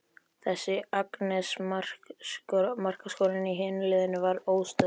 Þessi Agnes, markaskorarinn í hinu liðinu var óstöðvandi.